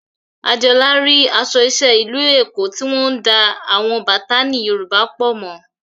Adeola rí aṣọ iṣẹ́ ìlú Èkó tí wọ́n ń da àwọn bátánì Yorùbá pọ̀ mọ́